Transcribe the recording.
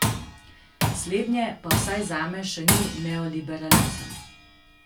Slednje pa vsaj zame še ni neoliberalizem.